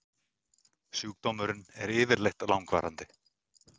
Sjúkdómurinn er yfirleitt langvarandi.